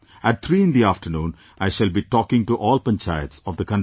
At 3 in the afternoon I shall be talking to all panchayats of the country